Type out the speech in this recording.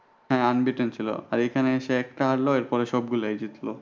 হ্যাঁ unbeaten ছিল আর এখানে এসে একটা হারল এরপরে সবগুলাই জিতল।